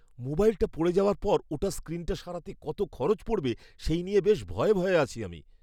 মোবাইলটা পড়ে যাওয়ার পর ওটার স্ক্রিনটা সারাতে কত খরচ পড়বে সেই নিয়ে বেশ ভয়ে ভয়ে আছি আমি।